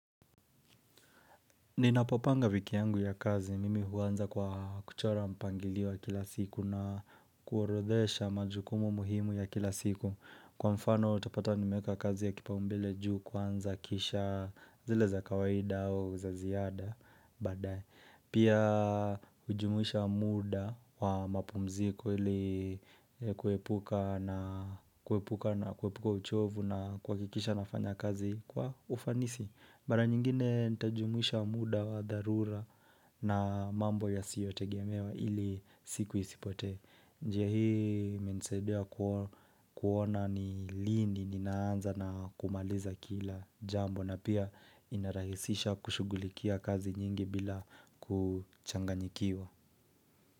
Ninapopanga wiki yangu ya kazi, mimi huanza kwa kuchora mpangilio wa kila siku na kuorodhesha majukumu muhimu ya kila siku. Kwa mfano utapata nimeeka kazi ya kipaumbele juu kwanza kisha zile za kawaida au za ziada badae Pia hujumuisha muda wa mapumziko ili kuepuka uchovu na kuhakikisha nafanya kazi kwa ufanisi. Mara nyingine nitajumuisha muda wa dharura na mambo ya siyote gemewa ili siku isipote. Njia hii imenisaidia kuona ni lini ninaanza na kumaliza kila jambo na pia inarahisisha kushugulikia kazi nyingi bila kuchanganyikiwa.